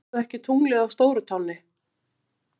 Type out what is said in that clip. SÉRÐU EKKI TUNGLIÐ Á STÓRUTÁNNI!